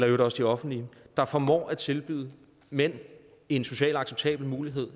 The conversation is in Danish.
øvrigt også de offentlige der formår at tilbyde mænd en socialt acceptabel mulighed